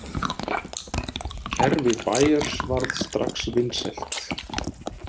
Kerfi Bayers varð strax vinsælt.